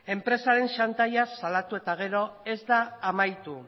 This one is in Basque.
enpresaren txantaila salatu eta gero ez da amaitu